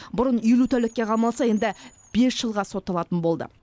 бұрын елу тәулікке қамалса енді бес жылға сотталатын болды